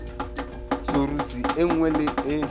soruse e nngwe le e